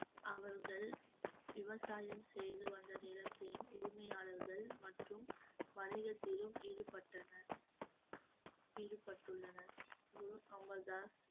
அவர்கள் விவசாயம் செய்து வந்த நிலத்தின் உரிமையாளர்கள் மற்றும் வணிகத்திலும் ஈடுபட்டனர் ஈடுபட்டுள்ளனர் குரு அமர் தாஸ்